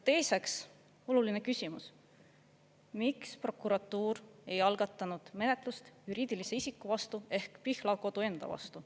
Teiseks, oluline küsimus, miks prokuratuur ei algatanud menetlust juriidilise isiku vastu ehk Pihlakodu enda vastu.